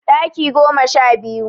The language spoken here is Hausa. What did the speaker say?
Ɗaki goma sha biyu